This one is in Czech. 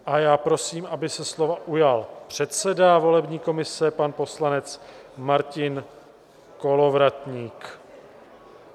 A já prosím, aby se slova ujal předseda volební komise, pan poslanec Martin Kolovratník.